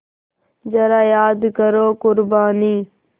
ज़रा याद करो क़ुरबानी